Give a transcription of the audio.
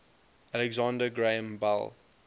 alexander graham bell